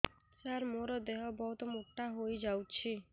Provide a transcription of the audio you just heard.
ସାର ମୋର ଦେହ ବହୁତ ମୋଟା ହୋଇଯାଉଛି